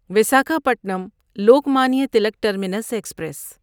Visakhapatnam Lokmanya Tilak terminus express